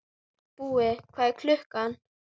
Sjálfsagt voru ýmsir hræddir, en enginn gaf sig fram.